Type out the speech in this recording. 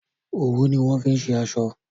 òwu ni wón fí ṣe aṣọ.